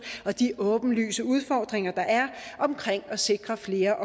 og de åbenlyse udfordringer der er omkring at sikre flere